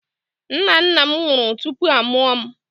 Nna nna m nwụrụ tupu a mụọ m.